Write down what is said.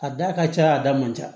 A da ka ca a da man ca